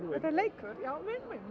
já